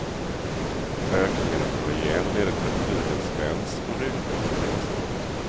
Ökningen av kollagen leder till att huden spänns och rynkor slätas ut.